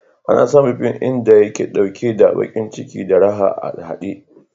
Ana samun fin ɗin da yake ɗauke da baƙin ciki da raha a haɗe.